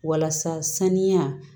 Walasa saniya